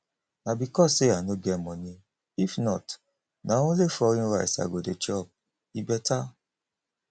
na because say i no get money if not na only foreign rice i go dey chop e better